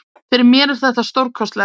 Fyrir mér er þetta stórkostlegt.